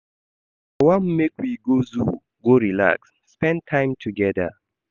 I wan make we go zoo go relax, spend time togeda.